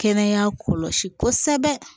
Kɛnɛya kɔlɔsi kosɛbɛ